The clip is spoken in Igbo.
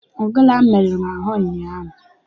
Ogene ahụ merụrụ m ahụ ụnyaahụ.